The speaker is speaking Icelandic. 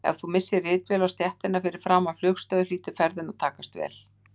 Ef þú missir ritvél á stéttina fyrir framan flugstöð hlýtur ferðin að takast vel.